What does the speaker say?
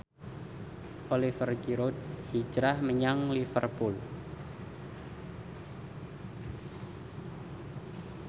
Oliver Giroud hijrah menyang Liverpool